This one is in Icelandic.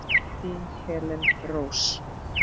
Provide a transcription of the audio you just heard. Þín Helena Rós.